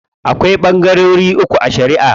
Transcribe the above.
Akwai ɓangarori uku a shariʼa.